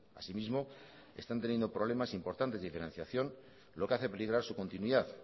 asimismo están teniendo problemas importantes de financiación lo que hace peligrar su continuidad